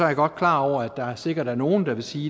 jeg godt klar over at der sikkert er nogle der vil sige